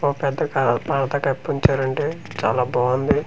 ఓ పెద్దగా పాత పేప్ ఉంచారండి చాలా బాగుంది.